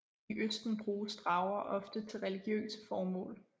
I østen bruges drager ofte til religiøse formål